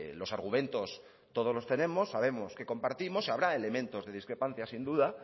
los argumentos todos los tenemos sabemos qué compartimos y habrá elementos de discrepancia sin duda